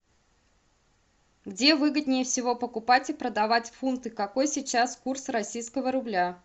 где выгоднее всего покупать и продавать фунты какой сейчас курс российского рубля